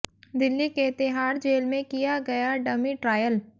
दिल्ली के तिहाड़ जेल में किया गया डमी ट्रायल